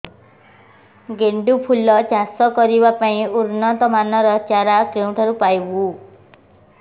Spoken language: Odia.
ଗେଣ୍ଡୁ ଫୁଲ ଚାଷ କରିବା ପାଇଁ ଉନ୍ନତ ମାନର ଚାରା କେଉଁଠାରୁ ପାଇବୁ